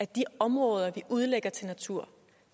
de områder vi udlægger til natur